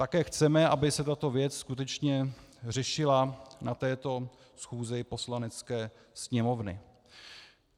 Také chceme, aby se tato věc skutečně řešila na této schůzi Poslanecké sněmovny.